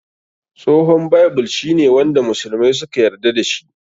Tsohon Bible shi ne wanda musulmai suka yarda da shi.